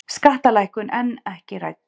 Skattalækkun enn ekki rædd